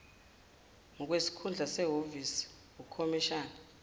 ngokwesikhundla sehhovisi ukhomishina